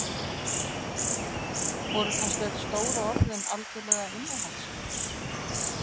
Voru kannski öll stóru orðin algjörlega innihaldslaus?